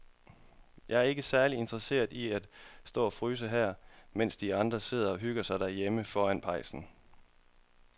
Jeg er ikke særlig interesseret i at stå og fryse her, mens de andre sidder og hygger sig derhjemme foran pejsen.